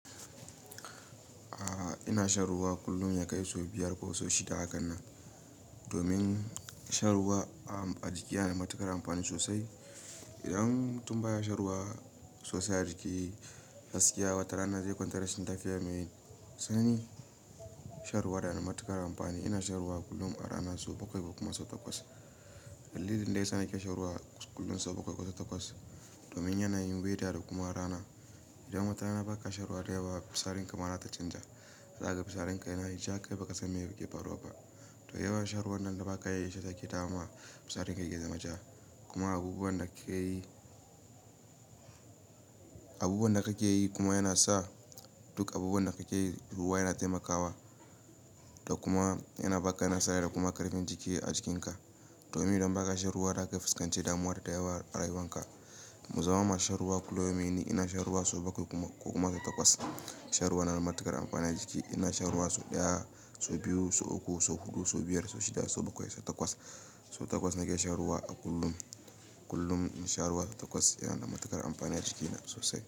A'a, ina shan ruwa kullum ya kai sau biyar ko sau shida haka nan. Domin shan ruwa a jiki yana da matuƙar amfani sosai. Idan tun baya shan ruwa sosai a jiki, haske ya watarana zai kwantar da shinta fiye da mai. Sani shan ruwa yana da matuƙar amfani. Ina shan ruwa kullum a rana sau bakwai ko kuma sau takwas. Dallilin da yasa yake shan ruwa kullum sau bakwai ko takwas domin yanayin weather da kuma rana. Idan wata rana ba ka shan ruwa da yawa, fitsarin ka ma za ta canja. Zaka ga fitsarin ka yayi ja, kai baka san me yake faruwa ba. To yawan shan ruwan nan da ba ka yi ya ita take dama fitsarin ka ya zama ja. Kuma abubuwan da ka ke yi kuma yana sa duk abubuwan da ka ci ruwa yana taimakawa da kuma yana ba ka nasara da kuma ƙarfin kiji a jikinka. Domin idan ba ka shan ruwa da aka fuskance damuwa da tayawa a rayuwanka. Mu zama masu shan ruwa kullum. Me ni ina shan ruwa sau bakwai ko kuma sau takwas. Shan ruwa yana da matuƙar amfani a jiki. Ina shan ruwa sau ɗaya, sau biyu, sau uku, sau huɗu, sau biyar, sau shida, sau bakwai, sau takwas. Sau takwas nake shan ruwa a kullum. Kullum shan ruwa takwas yana da matuƙar amfani a jikina sosai.